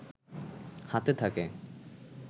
হাতে থাকে